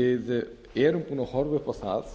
við erum búin að horfa upp á það